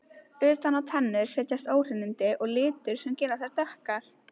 Utan á tennur setjast óhreinindi og litur sem gera þær dökkar.